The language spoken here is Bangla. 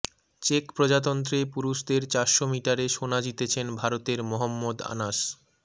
চেক প্রজাতন্ত্রে পুরুষদের চারশো মিটারে সোনা জিতেছেন ভারতের মহম্মদ আনাস